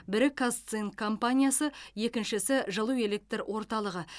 бірі қазцинк компаниясы екіншісі жылу электр орталығы